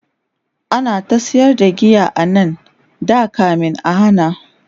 ana ta sayar da giya anan da kamin a hana